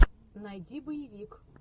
найди боевик